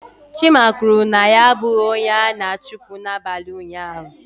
Chima kwuru na ya abụghị onye a na-achụpụ n'abalị ụnyaahụ.